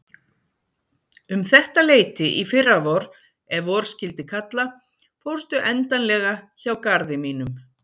Um þetta leyti í fyrravor ef vor skyldi kalla fórstu endanlega hjá garði mínum.